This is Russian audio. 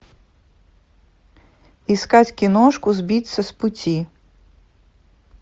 искать киношку сбиться с пути